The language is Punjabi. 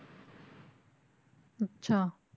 ਅੱਛਾ।